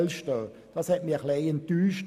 Dies hat mich etwas enttäuscht.